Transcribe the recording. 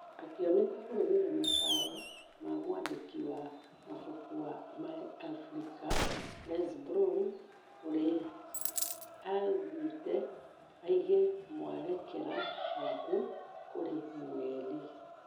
Akĩoneka kũrũmĩrĩra mataro ma mwandĩki wa mafuku wa america Les Brown ũrie augete ũige mwerekero waku kũrĩ mweri